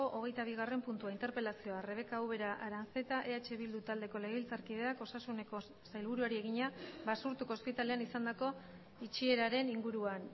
hogeita bigarren puntua interpelazioa rebeka ubera aranzeta eh bildu taldeko legebiltzarkideak osasuneko sailburuari egina basurtuko ospitalean izandako itxieraren inguruan